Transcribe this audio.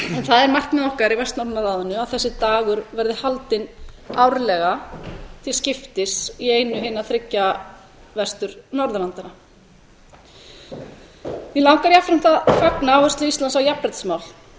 það er markmið okkar í vestnorræna ráðinu að þessi dagur verði haldinn árlega til skiptis í einu hinna þriggja vestur norðurlanda mig langar jafnframt að fagna áherslu íslands á jafnréttismál